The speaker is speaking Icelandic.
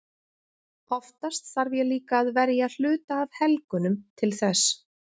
Oftast þarf ég líka að verja hluta af helgunum til þess.